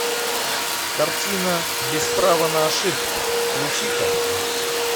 картина без права на ошибку включи ка